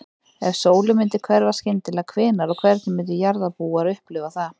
Ef sólin myndi hverfa skyndilega, hvenær og hvernig myndu jarðarbúar upplifa það?